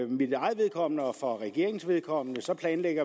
mit eget vedkommende og for regeringens vedkommende planlægger